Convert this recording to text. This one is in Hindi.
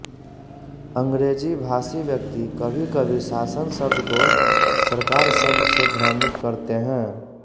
अंग्रेजी भाषी व्यक्ति कभीकभी शासन शब्द को सरकार शब्द से भ्रमित करते हैं